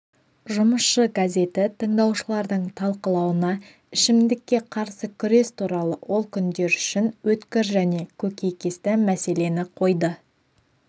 жұмысшы газеті тыңдаушылардың талқылауына ішімдікке қарсы күрес туралы ол күндер үшін өткір және көкейкесті мәселені қойды